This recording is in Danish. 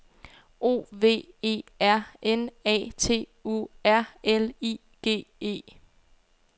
O V E R N A T U R L I G E